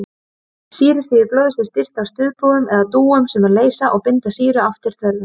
Sýrustigi blóðs er stýrt af stuðpúðum eða dúum sem leysa og binda sýru eftir þörfum.